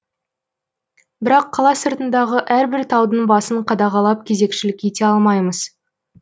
бірақ қала сыртындағы әрбір таудың басын қадағалап кезекшілік ете алмаймыз